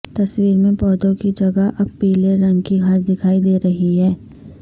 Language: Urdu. تصویر میں پودے کی جگہ اب پیلے رنگ کی گھاس دکھائی دے رہی ہے